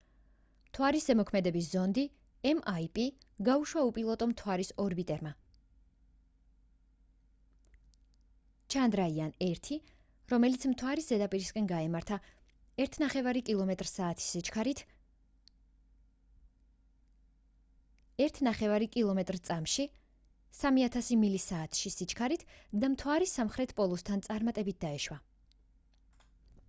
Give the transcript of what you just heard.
მთვარის ზემოქმედების ზონდი mip გაუშვა უპილოტო მთვარის ორბიტერმა chandrayaan-1 რომელიც მთვარის ზედაპირისკენ გაემართა 1,5 კმ/წმ-ში 3000 მილი საათში სიჩქარით და მთვარის სამხრეთ პოლუსთან წარმატებით დაეშვა